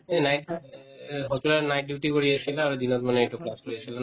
এই night এই hospital ত night duty কৰি আছিলা আৰু দিন মানে এইটো class আছিলা ন